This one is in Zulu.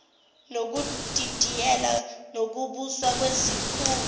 nokudidiyela ukubuswa kwesikhungo